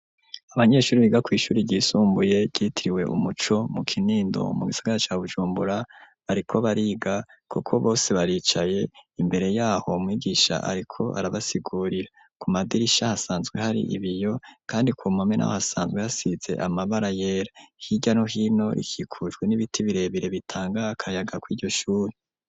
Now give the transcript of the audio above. Abanyeshuri biga kw'ishuri ryisumbuye ryitiriwe umuco mu Kinindo mu gisigara ca Bujumbura bariko bariga kuko bose baricaye imbere yaho mwigisha ariko arabasigurira ku madirisha hasanzwe hari ibiyo kandi ku mame hasanzwe hasize amabara yera hirya no hino rikikujwe n'ibiti birebire bitanga akayaga kw'iryo shuri.